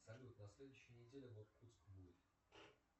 салют на следующей неделе и иркутск будет